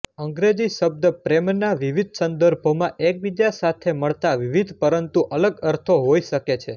અંગ્રેજી શબ્દ પ્રેમ ના વિવિધ સંદર્ભોમાં એકબીજા સાથે મળતા વિવિધપરંતુ અલગ અર્થો હોઈ શકે છે